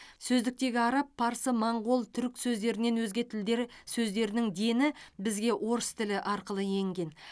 сөздіктегі араб парсы моңғол түрік сөздерінен өзге тілдер сөздерінің дені бізге орыс тілі арқылы енген